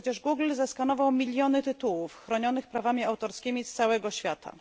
Przecież Google zeskanował miliony tytułów chronionych prawami autorskimi z całego świata.